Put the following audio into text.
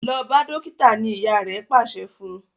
lọ bá dókítà! ní ìyá rè pàṣẹ fún.